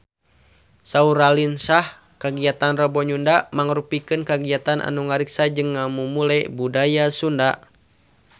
Saur Raline Shah kagiatan Rebo Nyunda mangrupikeun kagiatan anu ngariksa jeung ngamumule budaya Sunda